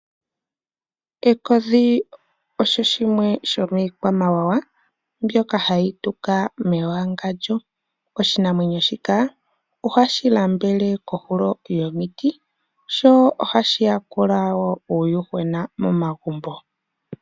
Ekodhi osho shimwe shomiikwamawawa mbyoka hayi tuka mewangandjo, oshinamwenyo shika ohashi nambele kohulo yomiti sho ohashi yakula woo uuyuhwena momagumbo.